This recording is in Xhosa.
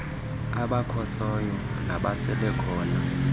abakhasayo nabasele bekhona